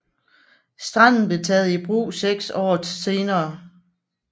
Stranden blev taget i brug seks år senere